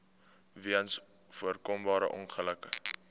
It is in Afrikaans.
weens voorkombare ongelukke